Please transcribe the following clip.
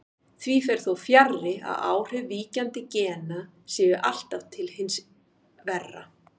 Því fer þó fjarri að áhrif víkjandi gena séu alltaf til hins verra.